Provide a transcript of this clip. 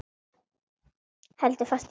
Heldur fast í hönd hans.